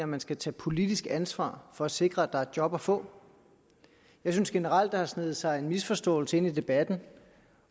man skal tage politisk ansvar for at sikre at der er job at få jeg synes generelt der har sneget sig en misforståelse ind i debatten